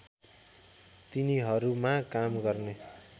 तिनीहरूमा काम गर्ने